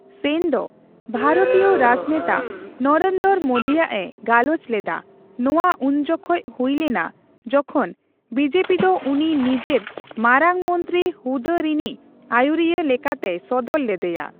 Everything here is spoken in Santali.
ᱥᱮᱱ ᱫᱚ ᱵᱷᱟᱨᱚᱛᱤᱭᱚ ᱨᱟᱡᱽᱱᱮᱛᱟ ᱱᱚᱨᱮᱱᱫᱚᱨᱚ ᱢᱳᱫᱤ ᱟᱜ ᱮ ᱜᱟᱞᱚᱪ ᱞᱮᱫᱟ ᱱᱚᱣᱟ ᱩᱱᱡᱚᱠᱷᱚᱱ ᱦᱩᱭ ᱞᱮᱱᱟ ᱡᱚᱠᱷᱚᱱ ᱵᱤᱡᱮᱯᱤ ᱫᱚ ᱩᱱᱤ ᱱᱤᱡᱮᱨ ᱢᱟᱨᱟᱝᱢᱚᱱᱛᱨᱤ ᱦᱩᱫᱟᱹ ᱨᱤᱱᱤᱡ ᱟᱹᱭᱩᱨᱤᱭᱟ, ᱞᱮᱠᱟ ᱛᱮᱭ ᱥᱚᱫᱚᱨ ᱞᱮᱫᱮᱭᱟ᱾